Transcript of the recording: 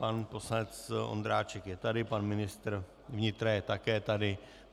Pan poslanec Ondráček je tady, pan ministra vnitra je také tady.